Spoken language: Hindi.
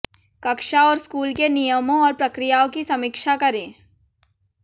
कक्षा और स्कूल के नियमों और प्रक्रियाओं की समीक्षा करें